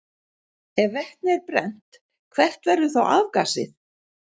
Ef vetni er brennt, hvert verður þá afgasið?